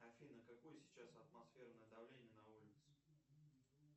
афина какое сейчас атмосферное давление на улице